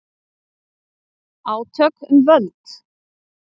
Átök um völd